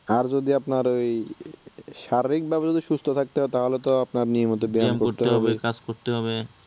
আর যদি আপনার ঐ শারীরিকভাবে যদি সুস্থ থাকতে হয় তাহলে তো আপনার, নিয়মিত ব্যায়াম করতে হবে